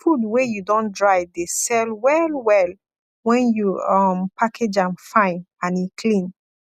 food wey you don dry de sell well well when you um package am fine and e clean